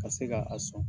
Ka se ka a sɔn